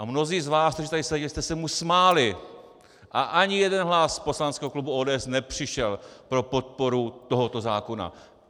A mnozí z vás, kteří tady seděli, jste se mu smáli a ani jeden hlas z poslaneckého klubu ODS nepřišel pro podporu tohoto zákona.